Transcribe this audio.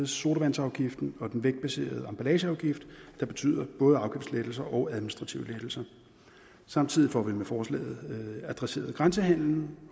sodavandsafgiften og den vægtbaserede emballageafgift og det betyder både afgiftslettelser og administrative lettelser samtidig får vi med forslaget adresseret grænsehandelen